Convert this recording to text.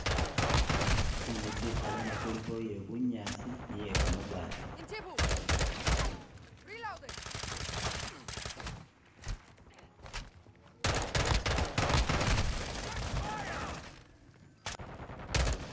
tsinzu tsihale nga huliho iye bunyasi niye kamabati